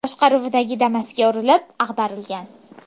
boshqaruvidagi Damas’ga urilib, ag‘darilgan.